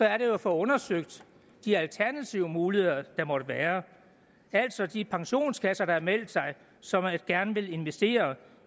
er at få undersøgt de alternative muligheder der måtte være altså de pensionskasser der har meldt sig og som gerne vil investere